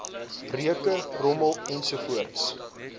reuke rommel ensovoorts